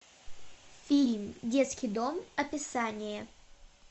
фильм детский дом описание